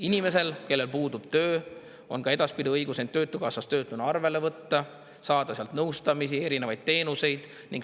Inimesel, kellel puudub töö, on ka edaspidi õigus end töötukassas töötuna arvele võtta, saada sealt nõustamist ja erinevaid teenuseid.